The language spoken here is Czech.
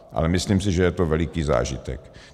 Ale myslím si, že je to veliký zážitek.